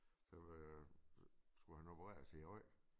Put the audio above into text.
Som øh skulle han opereres i æ ryg